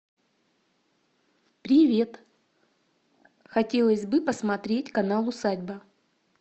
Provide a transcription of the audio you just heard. привет хотелось бы посмотреть канал усадьба